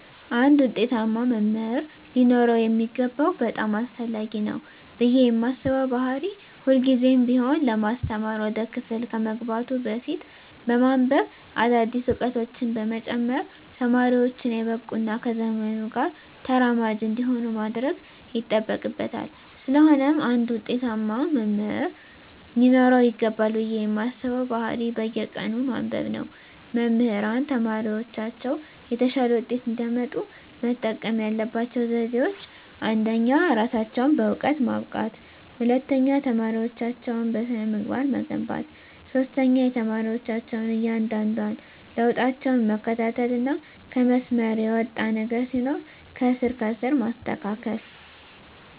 አንድ ውጤታማ መምህር ሊኖረው የሚገባው በጣም አስፈላጊ ነው ብየ ማስበው ባህሪ ሁልግዜም ቢሆን ለማስተማር ወደ ክፍል ከመግባቱ በፊት በማንብበ አዳዲስ እውቀቶችን በመጨመር ተማሪወቹን የበቁ እና ከዘመኑ ጋር ተራማጅ እንዲሆኑ ማድረግ ይጠበቅበታል ስለሆነም አንድ ውጤታማ መምህር ሊኖረው ይገባል ብየ ማስበው ባህሪ በየቀኑ ማንበብ ነው። መምህራን ተማሪወቻቸው የተሻለ ውጤት እንዲያመጡ መጠቀም ያለባቸው ዘዴወች አንደኛ እራሳቸውን በእውቀት ማብቃት፣ ሁለተኛ ተማሪወቻቸውን በስነ-ምግባር መገንባት፣ ሶስተኛ የተማሪወቻቸውን እያንዳንዷን ለውጣቸውን መከታተልና ከመስመር የወጣ ነገር ሲኖር ከስር ከስር ማስተካከል።